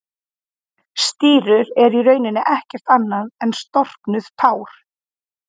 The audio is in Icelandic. Stírur eru í rauninni ekkert annað en storknuð tár.